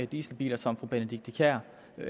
dieselbiler som fru benedikte kiær